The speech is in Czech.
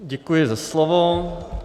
Děkuji za slovo.